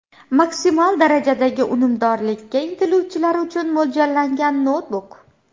Maksimal darajadagi unumdorlikka intiluvchilar uchun mo‘ljallangan noutbuk.